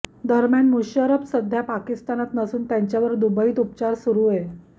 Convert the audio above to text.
दरम्यान मुशर्रफ सध्या पाकिस्तानात नसून त्यांच्यावर दुबईत उपचार सुरूये